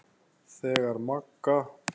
Þegar Magga